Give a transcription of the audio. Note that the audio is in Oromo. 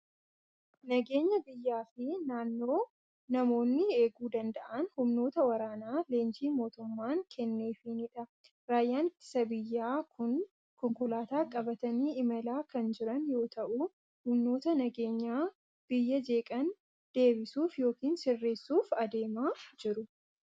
Nageenya biyyaa fi naannoo namoonni eeguu danda'an humnoota waraanaa leenjii mootummaan kenneefiinidha. Raayyaan ittisa biyyaa kun konkolaataa qabatanii imalaa kan jiran yoo ta'u, humnoota nageenya biyyaa jeeqan deebisuuf yookiin sirreessuuf adeemaa jiru.